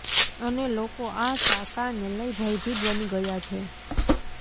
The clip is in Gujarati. અને લોકો આ ટાંકાને લઈ ભયભીત બની ગયા છે